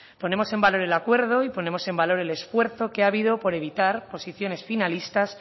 ponemos en valor el acuerdo y ponemos en valor el esfuerzo que ha habido por evitar posiciones finalistas